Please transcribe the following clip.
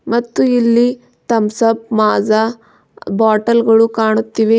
ಮತ್ತು ಇಲ್ಲಿ Thums Up Maaza bottle ಗಳು ಕಾಣುತ್ತವೆ.